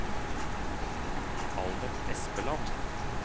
Albert Espeland